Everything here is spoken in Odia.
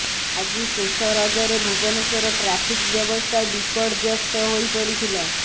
ଆଜି ଶେଷ ରଜରେ ଭୁବନେଶ୍ବର ଟ୍ରାଫିକ୍ ବ୍ୟବସ୍ଥା ବିପର୍ଯ୍ୟସ୍ତ ହୋଇପଡ଼ିଥିଲା